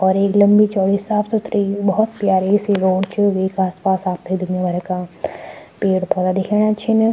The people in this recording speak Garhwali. और एक लम्बी चौड़ी साफ़ सुथरी भौत प्यारी सी रोड च वेक आस पास आपथे दुनिया भर का पेड़ पौधा दिखेणा छिन।